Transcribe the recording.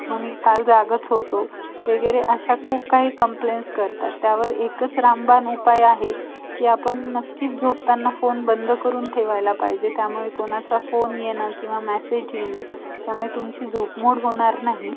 त्याचं मग तेच आपले board बनवायला नाही का आपले